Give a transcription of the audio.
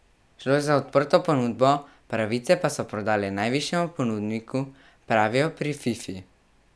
Šlo je za odprto ponudbo, pravice pa so prodali najvišjemu ponudniku, pravijo pri Fifi.